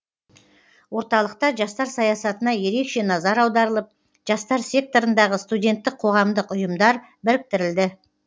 орталықта жастар саясатына ерекше назар аударылып жастар секторындағы студенттік қоғамдық ұйымдар біріктірілді